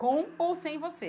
Com ou sem você?